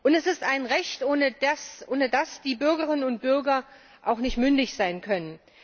Es ist ein Recht, ohne das die Bürgerinnen und Bürger auch nicht mündig sein können.